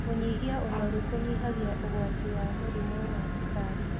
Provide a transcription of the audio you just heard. Kũnyĩa ũnorũ kũnyĩhagĩa ũgwatĩ wa mũrĩmũ wa cũkarĩ